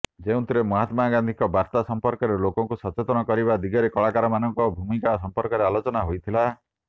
ଯେଉଁଥିରେ ମହାତ୍ମା ଗାନ୍ଧିଙ୍କ ବାର୍ତ୍ତା ସଂପର୍କରେ ଲୋକଙ୍କୁ ସଚେତନ କରିବା ଦିଗରେ କଳାକାରମାନଙ୍କ ଭୂମିକା ସଂପର୍କରେ ଆଲୋଚନା ହୋଇଥିଲା